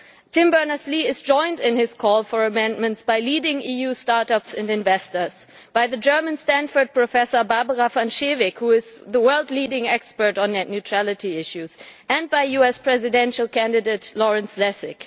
Tim Berners Lee is joined in his call for amendments by leading EU start ups and investors, by the German Stanford Professor, Barbara van Schewick, who is the world's leading expert on net neutrality issues, and by US presidential candidate Lawrence Lessig.